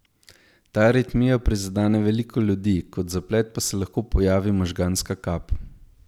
Ta aritmija prizadene veliko ljudi, kot zaplet pa se lahko pojavi možganska kap.